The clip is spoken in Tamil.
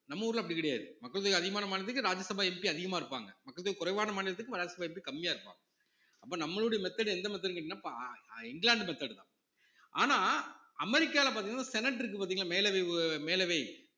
நம்ம ஊர்ல அப்படி கிடையாது மக்கள் தொகை அதிகமான மாநிலத்துக்கு ராஜ்யசபா MP அதிகமா இருப்பாங்க மக்கள் தொகை குறைவான மாநிலத்துக்கு ராஜ்யசபா MP கம்மியா இருப்பாங்க அப்ப நம்மளுடைய method எந்த method ன்னு கேட்டீங்கன்னா பா~ இங்கிலாந்து method தான் ஆனா அமெரிக்கால பாத்தீங்கன்னா senate இருக்கு பாத்தீங்களா மேலவை மேலவை